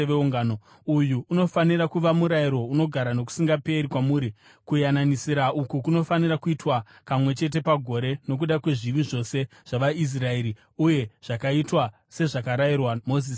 “Uyu unofanira kuva murayiro unogara nokusingaperi kwamuri: Kuyananisira uku kunofanira kuitwa kamwe chete pagore, nokuda kwezvivi zvose zvavaIsraeri.” Uye zvakaitwa, sezvakarayirwa Mozisi naJehovha.